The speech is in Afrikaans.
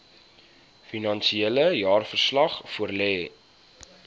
finansiële jaarverslag voorlê